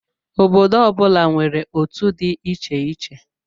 Obodo ọ bụla nwere otú dị iche iche.